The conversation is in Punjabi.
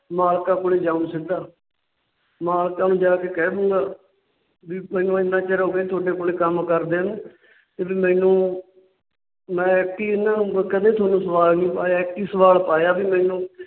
ਮਾਲਕਾਂ ਕੋਲ ਹੀ ਜਾਉ ਸਿੱਧਾ। ਮਾਲਕਾਂ ਨੂੰ ਜਾਕੇ ਕਹਿ ਦੂੰਗਾ ਵੀ ਮੈਨੂੰ ਇੰਨਾ ਚਿਰ ਹੋ ਗਿਆ ਤੁਹਾਡੇ ਕੋਲ ਕੰਮ ਕਰਦਿਆਂ ਨੂੰ ਵੀ ਮੈਨੂੰ ਮੈ ਕਿ ਇਹਨਾਂ ਵਕਣਾ ਨਹੀਂ ਤੁਹਾਨੂੰ ਸਵਾਲ ਨਹੀ ਪਾਇਆ। ਇੱਕ ਹੀ ਸਵਾਲ ਪਾਇਆ ਵੀ ਮੈਨੂੰ